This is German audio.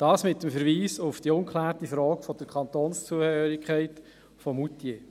Dies mit dem Verweis auf die ungeklärte Frage der Kantonszugehörigkeit von Moutier.